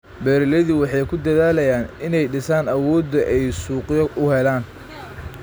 Beeraleydu waxay ku dadaalayaan inay dhisaan awoodda ay suuqyo u helaan.